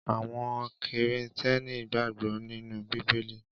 Àwọn Kìrìtẹ́ẹ́nì gbàgbọ́ nínú Bíbélì.